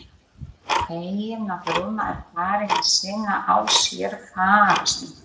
Fegin að Rúna er farin að sýna á sér fararsnið.